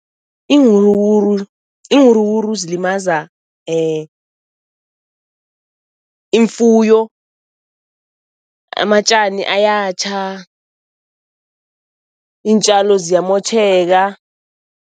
Iinwuruwuru iinwuruwuru zilimaza ifuyo, amatjani ayatjha, iintjalo ziyamotjheka.